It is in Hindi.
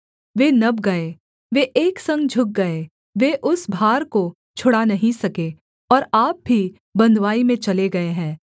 वे नब गए वे एक संग झुक गए वे उस भार को छुड़ा नहीं सके और आप भी बँधुवाई में चले गए हैं